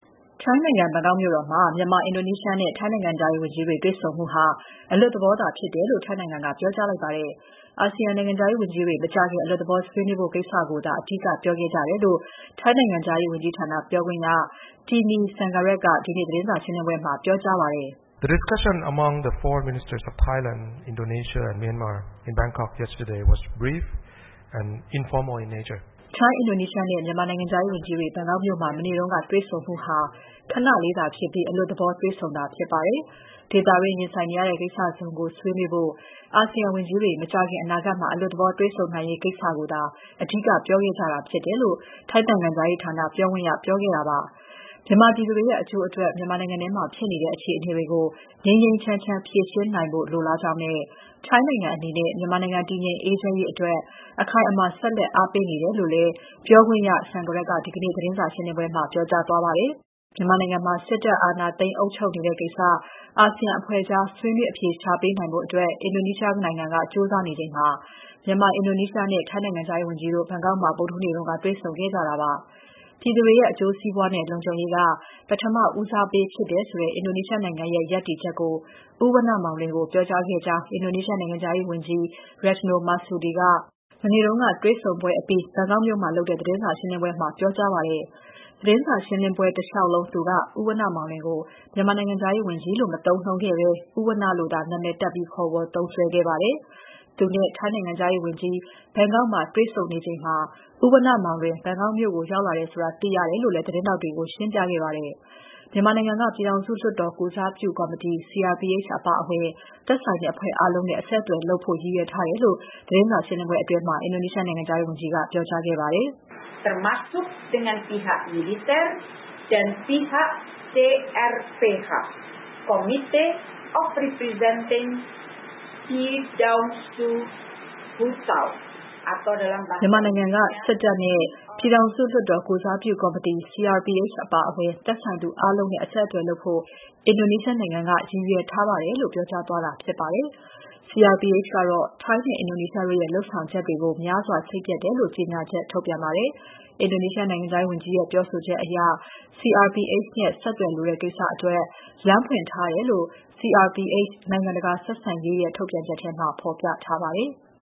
ထိုင်းနိုင်ငံ ဘန်ကောက်မြို့တော်မှာ မြန်မာ၊ အင်ဒိုနီးရှားနဲ့ ထိုင်းနိုင်ငံ နိုင်ငံခြားရေးဝန်ကြီးတွေ တွေ့ဆုံမှုဟာ အလွတ်သဘောသာဖြစ်တယ်လို့ ထိုင်းနိုင်ငံက ပြောကြားလိုက်ပါတယ်။ အာဆီယံနိုင်ငံခြားရေးဝန်ကြီးတွေ မကြာခင် အလွတ်သဘောဆွေးနွေးဖို့ကိစ္စကိုသာ အဓိကပြောခဲ့ကြတယ်လို့ ထိုင်းနိုင်ငံခြားရေးဝန်ကြီးဌာန ပြောခွင့်ရ Tanee Sangrat က ဒီနေ့သတင်းစာရှင်းပွဲမှာ ပြောကြားပါတယ်။ "ထိုင်း၊ အင်ဒိုနီးရှားနဲ့ မြန်မာနိုင်ငံခြားရေးဝန်ကြီးတွေ ဘန်ကောက်မြို့မှာ မနေ့တုန်းက တွေ့ဆုံမှုဟာ ခဏလေးသာဖြစ်ပြီး အလွတ်သဘော တွေ့ဆုံတာဖြစ်ပါတယ်။ ဒေသတွင်းရင်ဆိုင်နေရတဲ့ ကိစ္စစုံကို ဆွေးနွေးဖို့ အာဆီယံဝန်ကြီးတွေ မကြာခင်အနာဂတ်မှာ အလွတ်သဘော တွေ့ဆုံနိုင်ရေးကိစ္စကိုသာ အဓိက ပြောခဲ့ကြတာဖြစ်တယ်။" လို့ ထိုင်းနိုင်ငံခြားရေးဌာနပြောခွင့်ရက ပြောခဲ့ပါတယ်။ မြန်မာပြည်သူတွေရဲ့ အကျိုးအတွက် မြန်မာနိုင်ငံထဲမှာ ဖြစ်နေတဲ့ အခြေအနေတွေကို ငြိမ်းငြိမ်းချမ်းချမ်း ဖြေရှင်းနိုင်ဖို့ လိုလားကြောင်းနဲ့ထိုင်းနိုင်ငံအနေနဲ့ မြန်မာနိုင်ငံ တည်ငြိမ် အေးချမ်းရေးအတွက် အခိုင်အမာ ဆက်လက်အားပေးတယ်လို့လည်း ပြောခွင့်ရ Sangrat က ဒီနေ့ သတင်းစာရှင်းပွဲမှာ ပြောကြားသွားပါတယ်။ မြန်မာနိုင်ငံမှာ စစ်တပ်က အာဏာသိမ်းအုပ်ချုပ်နေတဲ့ကိစ္စ အာဆီယံအဖွဲ့ကြား ဆွေးနွေးအဖြေရှာပေးနိုင်ဖို့ အင်ဒိုနီးရှားနိုင်ငံက ကြိုးစားနေချိန်မှာ မြန်မာ၊ အင်ဒိုနီးရှားနဲ့ ထိုင်းနိုင်ငံခြားရေးဝန်ကြီးတို့ ဘန်ကောက်မှာ ဗုဒ္ဓဟူးနေ့က တွေ့ဆုံခဲ့ကြတာဖြစ်ပါတယ်။ မြန်မာပြည်သူတွေရဲ့ အကျိုးစီးပွားနဲ့ လုံခြုံရေးက ပထမဦးစားပေးဖြစ်တယ်ဆိုတဲ့ အင်ဒိုနီးရှားနိုင်ငံရဲ့ ရပ်တည်ချက်ကို ဦးဝဏ္ဏမောင်လွင်ကို ပြောကြားခဲ့ကြောင်း အင်ဒိုနီးရှားနိုင်ငံခြားရေးဝန်ကြီး Retno Marsudi က မနေ့က တွေ့ဆုံပွဲအပြီး ဘန်ကောက်မှာလုပ်တဲ့ သတင်းစာရှင်းလင်းပွဲမှာ ပြောကြားပါတယ်။ သတင်းစာရှင်းပွဲတလေ ျှာက်လုံး သူက ဦးဝဏ္ဏမောင်လွင်ကို မြန်မာနိုင်ငံခြားရေးဝန်ကြီးလို့ မသုံးနှုန်းခဲ့ဘဲ ဦးဝဏ္ဏလို့သာ နာမည်တပ်ပြီး ခေါ်ဝေါ်သုံးစွဲခဲ့ပါတယ်။ သူနဲ့ ထိုင်းနိုင်ငံခြားရေးဝန်ကြီးတို့ ဘန်ကောက်မှာ တွေ့ဆုံနေချိန်မှာ ဦးဝဏ္ဏမောင်လွင် ဘန်ကောက်မြို့ကို ရောက်လာတယ်ဆိုတာ သိရတယ်လို့လည်း သတင်းထောက်တွေကို ရှင်းပြခဲ့ပါတယ်။ မြန်မာနိုင်ငံက ပြည်ထောင်စုလွှတ်တော်ကိုယ်စားပြုကော်မတီ (CRPH) အပါအဝင် သက်ဆိုင်တဲ့အဖွဲ့အားလုံးနဲ့ အဆက်အသွယ်လုပ်ဖို့ ရည်ရွယ်ထားတယ်လို့ သတင်းစာရှင်းပွဲအတွင်းမှာ အင်ဒိုနီးရှာနိုင်ငံခြားရေးဝန်ကြီးက ပြောကြားခဲ့ပါတယ်။ "မြန်မာနိုင်ငံက စစ်တပ်နဲ့ ပြည်ထောင်စုလွှတ်တော် ကိုယ်စားပြုကော်မတီ (CRPH) အပါအဝင် သက်ဆိုင်သူအားလုံးနဲ့ အဆက်အသွယ်လုပ်ဖို့ အင်ဒိုနီးရှားနိုင်ငံက ရည်ရွယ်ထားထားပါတယ်" လို့ ပြောကြားသွားတာပါ။ CRPH ကတော့ ထိုင်းနဲ့ အင်ဒိုနီးရှားတို့ရဲ့ လုပ်ဆောင်ချက်တွေကို များစွာ စိတ်ပျက်တယ်လို့ ကြေညာချက်ထုတ်ပြန်ပါတယ်။ အင်ဒိုနီးရှားနိုင်ငံခြာရေးဝန်ကြီးရဲ့ ပြောဆိုချက်အရ CRPH နဲ့ ဆက်သွယ်လိုတဲ့ကိစ္စအတွက် လမ်းဖွင့်ထားတယ်လို့ CRPH (နိုင်ငံတကာဆက်ဆံရေး) ရဲ့ ထုတ်ပြန်ချက်မှာ ဖော်ပြထားပါတယ်။